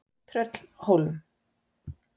Tröllhólum